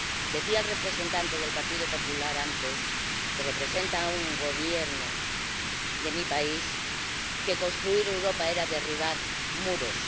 Decía el representante del Partido Popular antes, que representa al Gobierno de mi país, que construir Europa era derribar muros.